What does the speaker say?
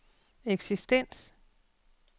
eksistens